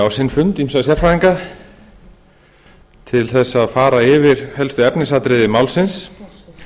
á sinn fund ýmsa sérfræðinga til þess að fara yfir helstu efnisatriði málsins